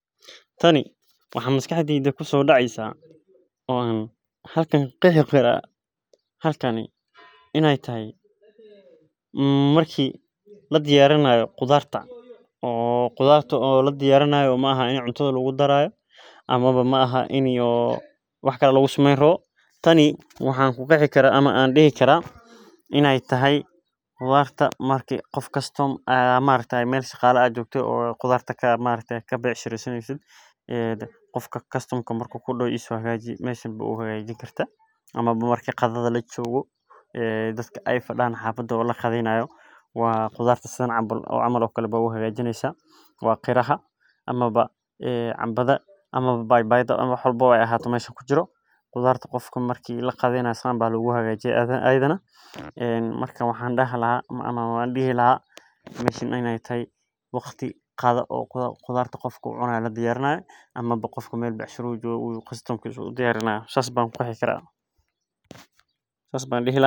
Tani waxaa maskaxdeyda kusodacaya oo an halkani ka qexi karaa marki qudhartaa ladiyarinayo in ee tahay qudarta qof kasta oo mesha qudharta jogo oo dadka ee qadheyni hayan waa qiraha ama qudharta sithas I ee tahay waqti qadha oo dadka ee qudharta cuni hayo oo madamta wax sharxaso hagajinayo si loga hortago in geedaha dawadotha ayu ku bufini haya sas ayan ku arki haya.